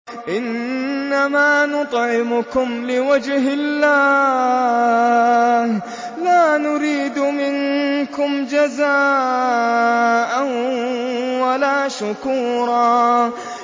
إِنَّمَا نُطْعِمُكُمْ لِوَجْهِ اللَّهِ لَا نُرِيدُ مِنكُمْ جَزَاءً وَلَا شُكُورًا